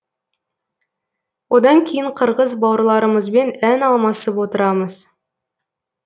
одан кейін қырғыз бауырларымызбен ән алмасып отырамыз